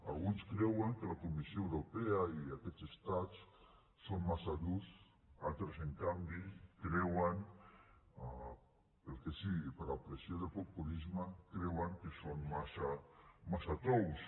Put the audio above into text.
alguns creuen que la comissió europea i aquests estats són massa durs altres en canvi creuen pel que sigui per la pressió del populisme que són massa tous